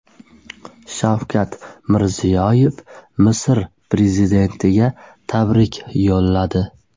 Shavkat Mirziyoyev Misr prezidentiga tabrik yo‘lladi.